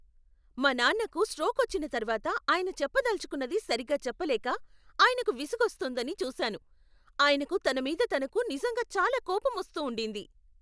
మా నాన్నకు స్ట్రోక్ వచ్చిన తర్వాత ఆయన చెప్పదలచుకున్నది సరిగ్గా చెప్పలేక, ఆయనకు విసుగొస్తోందని చూశాను. ఆయనకు తన మీద తనకు నిజంగా చాలా కోపం వస్తూ ఉండింది.